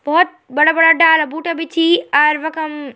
भौत बड़ा बड़ा डाला बूटा भी छी अर वखम।